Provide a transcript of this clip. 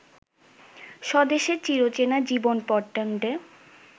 স্বদেশের চিরচেনা জীবনপটেণ্ড